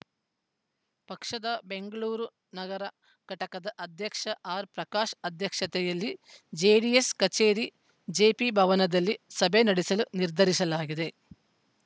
ಪಕ್ಷದ ಬೆಂಗಳೂರು ನಗರ ಘಟಕದ ಅಧ್ಯಕ್ಷ ಆರ್‌ಪ್ರಕಾಶ್‌ ಅಧ್ಯಕ್ಷತೆಯಲ್ಲಿ ಜೆಡಿಎಸ್‌ ಕಚೇರಿ ಜೆಪಿ ಭವನದಲ್ಲಿ ಸಭೆ ನಡೆಸಲು ನಿರ್ಧರಿಸಲಾಗಿದೆ